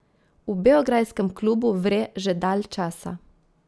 V beograjskem klubu vre že dalj časa.